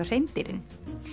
hreindýrin